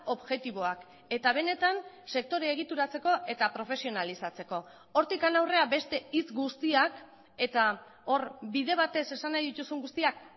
objektiboak eta benetan sektorea egituratzeko eta profesionalizatzeko hortik aurrera beste hitz guztiak eta hor bide batez esan nahi dituzun guztiak